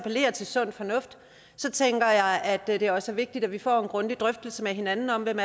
appellerer til sund fornuft tænker jeg at det også er vigtigt at vi får en grundig drøftelse med hinanden om hvem